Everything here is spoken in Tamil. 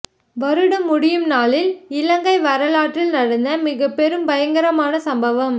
வருடம் முடியும் நாளில் இலங்கை வரலாற்றில் நடந்த மிகப் பெரும் பயங்கரமான சம்பவம்